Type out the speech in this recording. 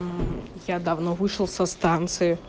мм я давно вышел со станции